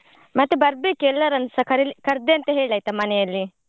ಮತ್ತೆ ಬರ್ಬೇಕು, ಎಲ್ಲರನ್ನುಸ ಕರೀಲಿ~ ಕರ್ದೆ ಅಂತ ಹೇಳ್ ಆಯ್ತಾ ಮನೆಯಲ್ಲಿ.